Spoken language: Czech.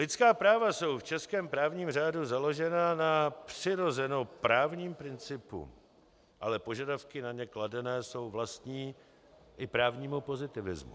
Lidská práva jsou v českém právním řádu založená na přirozeném právním principu, ale požadavky na ně kladené jsou vlastní i právnímu pozitivismu.